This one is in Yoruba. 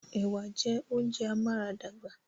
Ẹ̀wà jẹ́ oúnjẹ amáradàgbà